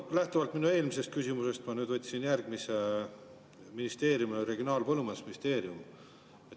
Lähtuvalt minu eelmisest küsimusest ma võtsin nüüd järgmise ministeeriumi, Regionaal‑ ja Põllumajandusministeeriumi.